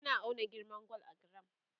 ana auna girman gwal a giram